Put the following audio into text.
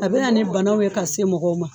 A bɛ na ni banaw ye ka se mɔgɔw ma.